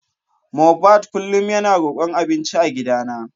Mohbad kullum yana rokon abinci a gidana.